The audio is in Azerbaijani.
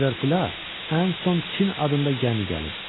Liverpoola ən son Çin adında gəmi gəlib.